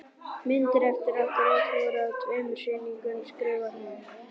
Myndir eftir okkur öll voru á tveimur sýningum skrifar hún.